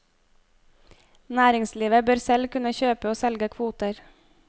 Næringslivet bør selv kunne kjøpe og selge kvoter.